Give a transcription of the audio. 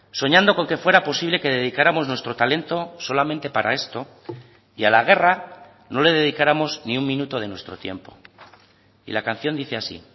soñando con que fuera posible que dedicáramos nuestro talento solamente para esto y a la guerra no le dedicáramos ni un minuto de nuestro tiempo y la canción dice así